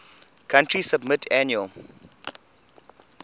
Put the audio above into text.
country submit annual